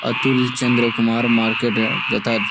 Atul Chandra Kumar market এর যথার--